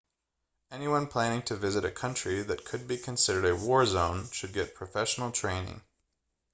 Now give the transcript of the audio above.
anyone planning a visit to a country that could be considered a war zone should get professional training